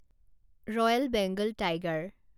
royal Bengal tiger